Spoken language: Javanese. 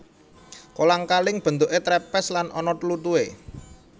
Kolang kaling bentuké trepes lan ana tlutuhe